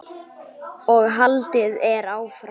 og haldið er áfram.